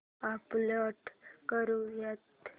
upload करुयात